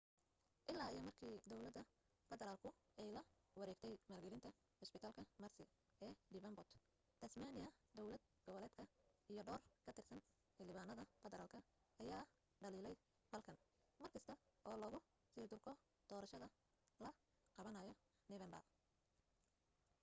illaa iyo markii dawladda federaalku ay la wareegtay maalgelinta cusbitaalka mersey ee devenport tasmania dawlad goboleedka iyo dhowr ka tirsan xildhibaanada federaalka ayaa dhaliilay falkan markasta oo lagu sii durko doorashada la qabanayo noofeembar